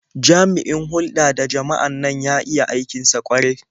Jami'in hulɗa da jama'an nan ya iya aikin sa ƙwarai.